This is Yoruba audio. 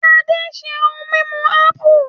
Ade ṣe ohun mímu ápù